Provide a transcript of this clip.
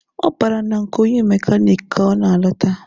Ọ bara na nke onye mekaniki ka ọ na-alata.